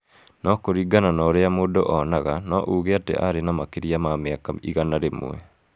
No kũringana na ũrĩa mũndũ onaga, no uuge atĩ aarĩ na makĩria ma mĩaka 100.